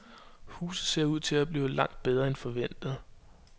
Huset ser ud til at blive langt bedre end forventet.